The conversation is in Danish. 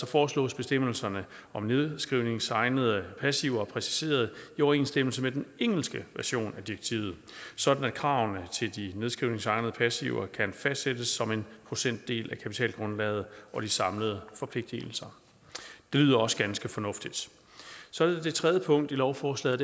foreslås bestemmelserne om nedskrivningsegnede passiver præciseret i overensstemmelse med den engelske version af direktivet sådan at kravene til de nedskrivningsegnede passiver kan fastsættes som en procentdel af kapitalgrundlaget og de samlede forpligtelser det lyder også ganske fornuftigt så er der det tredje punkt i lovforslaget